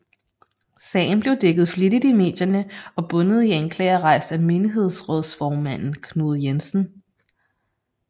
Sagen blev dækket flittigt i medierne og bundede i anklager rejst af menighedsrådsformanden Knud Jensen